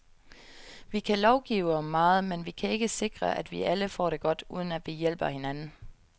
Vi kan lovgive om meget, men vi kan ikke sikre, at vi alle får det godt, uden at vi hjælper hinanden.